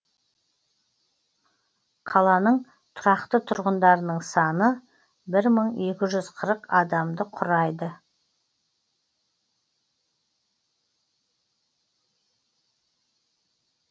қаланың тұрақты тұрғындарының саны бір мың екі жүз қырық адамды құрайды